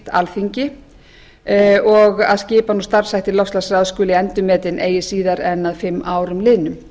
alþingi og að skipan og starfshættir loftslagsráðs skulu endurmetin ekki síðar en að fimm árum liðnum